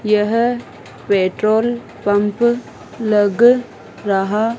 यह petrol pump लग रहा--